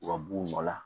U ka b'u nɔ la